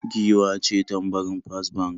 Giwa ce tambarin First Bank